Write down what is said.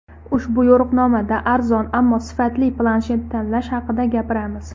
Ushbu yo‘riqnomada arzon, ammo sifatli planshet tanlash haqida gapiramiz.